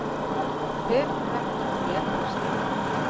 Höfuðverkurinn í öllum skrítlum.